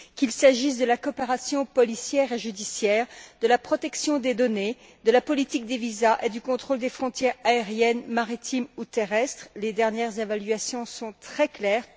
Qu'il s'agisse de la coopération policière et judiciaire, de la protection des données, de la politique des visas et du contrôle des frontières aériennes, maritimes ou terrestres, les dernières évaluations sont très claires.